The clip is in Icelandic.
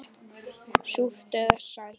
Súrt eða sætt.